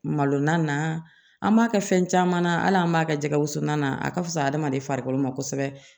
Malo na an b'a kɛ fɛn caman na hali an b'a kɛ jɛgɛ wusu na a ka fisa adamaden farikolo ma kosɛbɛ